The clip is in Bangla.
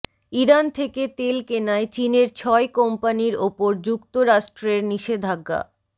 ইরান থেকে তেল কেনায় চীনের ছয় কোম্পানির ওপর যুক্তরাষ্ট্রের নিষেধাজ্ঞা